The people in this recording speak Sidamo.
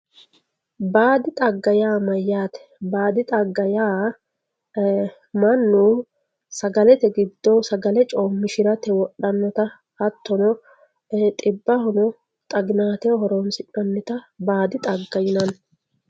baadi xagga yaa mayyaate baadi xagga yaa mannu sagalete giddo sagale coommishirate wodhannota hattono xiwammiro xaginaateho horoonsi'nannita baadi xagga yinanni